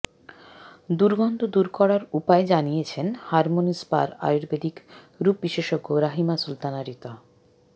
দুর্গন্ধ দূর করার উপায় জানিয়েছেন হারমনি স্পার আয়ুর্বেদিক রূপবিশেষজ্ঞ রাহিমা সুলতানা রীতা